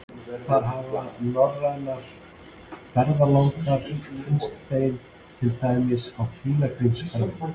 Þar hafa norrænir ferðalangar kynnst þeim, til dæmis á pílagrímsferðum.